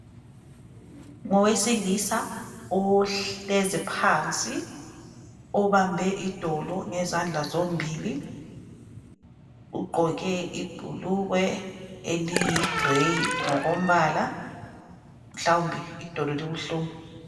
Ngowesilisa ohlezi phansi obambe idolo ngezandla zombili ugqoke ibhukugwe eliyigrey ngokombala mhlawumbe idolo libuhlungu